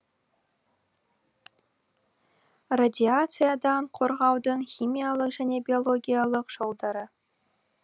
радиациядан қорғанудың химиялық және биологиялық жолдары